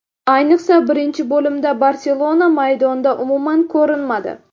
Ayniqsa birinchi bo‘limda ‘Barselona’ maydonda umuman ko‘rinmadi.